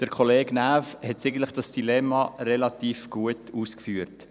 Kollege Näf hat dieses Dilemma eigentlich relativ gut ausgeführt.